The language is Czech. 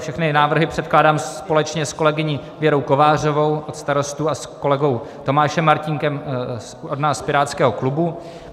Všechny návrhy předkládám společně s kolegyní Věrou Kovářovou od Starostů a s kolegou Tomášem Martínkem od nás z pirátského klubu.